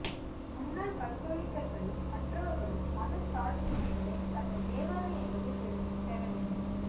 முன்னாள் கத்தோலிக்கர்களும் மற்றவர்களும் மதச்சார்பின்மைகளை தங்கள் தேவாலயங்களில் இருந்து பெற வேண்டும்